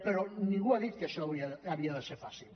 però ningú ha dit que això havia de ser fàcil